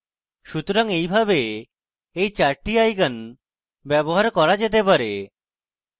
সুতরাং এইভাবে এই চারটি icons ব্যবহার করা যেতে পারে